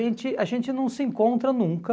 a gente, a gente não se encontra nunca.